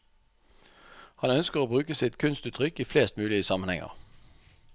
Han ønsker å bruke sitt kunstuttrykk i flest mulig sammenhenger.